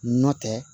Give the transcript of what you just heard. Nɔ tɛ